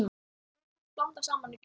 Sósunni blandað saman við kjötið.